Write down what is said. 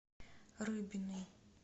рыбиной